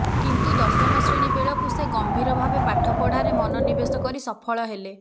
କିନ୍ତୁ ଦଶମ ଶ୍ରେଣୀ ବେଳକୁ ସେ ଗମ୍ଭୀର ଭାବେ ପାଠପଢ଼ାରେ ମନୋନିବେଶ କରି ସଫଳ ହେଲେ